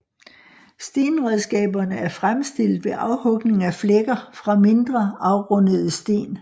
Stenredskaberne er fremstillet ved afhugning af flækker fra mindre afrundede sten